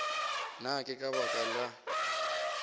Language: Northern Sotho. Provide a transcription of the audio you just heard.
na ke ka baka la